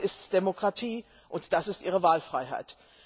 Das ist Demokratie, und das ist ihre Wahlfreiheit.